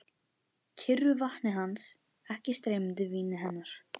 Kyrru vatni hans, ekki streymandi víni hennar.